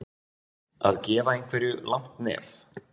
Að gefa einhverju langt nef